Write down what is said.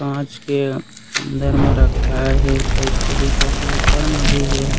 कांच के अंदर म रखाए हे टाइप से दिखत हे ऊपर मे भी हे।